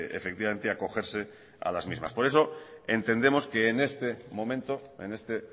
efectivamente acogerse a las mismas por eso entendemos que en este